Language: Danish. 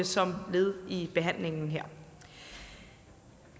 som led i behandlingen her